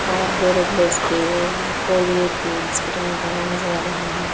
और बोरोप्लस के कोलगेट के बिस्किटां वगैरह नजर आ रहे हैं।